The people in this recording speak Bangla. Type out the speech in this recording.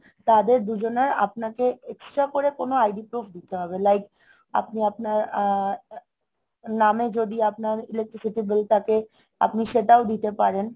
তাদের দুজনের আপনাকে extra করে কোনো ID proof দিতে হবে like আপনি আপনার আহ নামে যদি আপনার electricity bill থাকে আপনি সেটাও দিতে পারেন